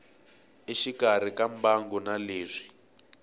exikarhi ka mbangu na leswi